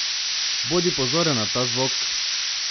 Bodi pozoren na ta zvok!